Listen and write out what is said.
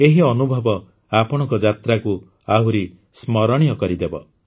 ଏହି ଅନୁଭବ ଆପଣଙ୍କ ଯାତ୍ରାକୁ ଆହୁରି ସ୍ମରଣୀୟ କରିଦେବ